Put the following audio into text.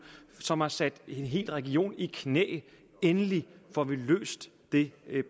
som har sat en hel region i knæ endelig får vi løst det